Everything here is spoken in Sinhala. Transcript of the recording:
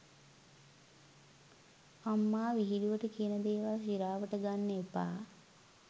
අම්මා විහිලුවට කියන දේවල් සිරාවට ගන්න එපා.